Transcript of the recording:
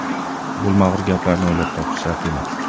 Bo‘lmag‘ur gaplarni o‘ylab topish shart emas.